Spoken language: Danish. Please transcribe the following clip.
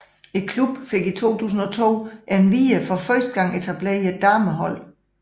Klubben fik i 2002 endvidere for første gang etableret et damehold